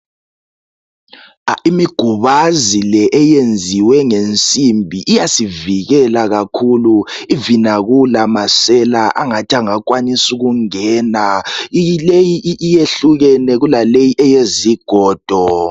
imigubazi le eyenziwe ngensimbi iyasivikela kakhulu even akula masela angathi angakwanisa ukungena leyi yehlukene kulaleyi eyezigodo